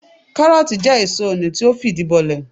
Káárótì jẹ́ èso oni tí ó fìdí bolẹ̀